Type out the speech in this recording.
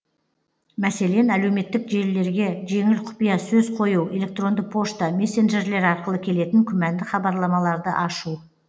мәселен әлеуметтік желілерге жеңіл құпия сөз қою электронды пошта месенджерлер арқылы келетін күмәнді хабарламаларды ашу